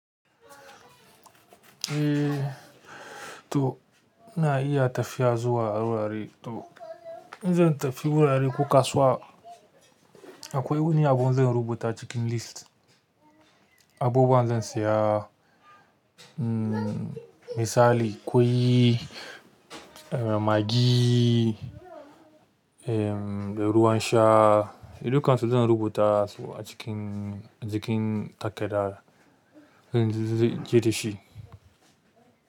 Eh to ina iya tafiya zuwa wurare to in zan tafi wurare ko kasuwa akwai wani abu zan rubuta a cikin list. Abubuwa zan saya mm misali ƙwai, em magi, ruwan sha, dukan su zan rubuta su a cikin, jikin takarda. Zan je da shi.